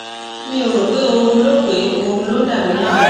mi ò rò pé oorun ló pé oorun ló ń dà mí láàmú